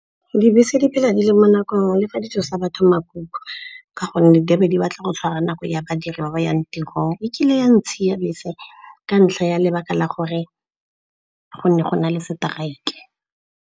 Dibese di phela di le mo nakong le fa di tsosa batho makuku ka gonne di a be di batla go tshwara nako ya badiri ba ba yang tirong. Ekile ya ntshiya bese ka ntlha ya lebaka la gore go ne go na le seteraeke.